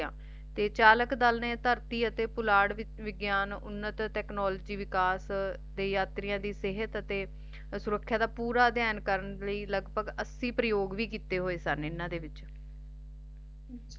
ਤੇ ਚਾਲਕ ਦਲ ਨੇ ਧਰਤੀ ਅਤੇ ਪੁਲਾੜ ਵਿਚ ਵਿਗਿਆਨ ਉੱਨਤ Technology ਵਿਕਾਸ ਦੇ ਯਾਤਰੀਆਂ ਦੀ ਸਿਹਤ ਅਤੇ ਸੁਰੱਖਿਆ ਦਾ ਅਧਿਐਨ ਕਰਨ ਲਈ ਲਗਪਗ ਐਸੀ ਪ੍ਰਿਯੋਗ ਵੀ ਕਿਤੇ ਹੋਏ ਸਨ ਇਹਨਾਂ ਦੇ ਵਿੱਚ